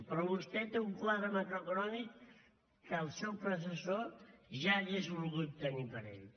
però vostè té un quadre macroeconòmic que el seu predecessor ja hauria volgut tenir per a ell